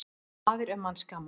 Maður er manns gaman.